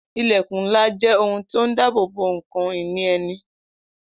Ilẹkun ńlá jẹ́ ohun tó ń dabobo ǹkan ìní ẹni